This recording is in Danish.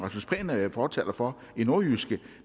herre er fortaler for i nordjyske